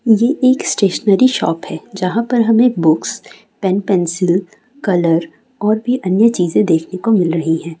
ये एक stationery shop है जहां पर हमें बुक्स पेन पेंसिल कलर और भी अन्य चीजे देखने को मिल रही है।